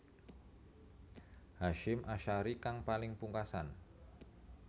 Hasyim Asharie kang paling pungkasan